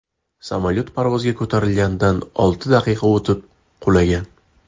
Samolyot parvozga ko‘tarilganidan olti daqiqa o‘tib qulagan.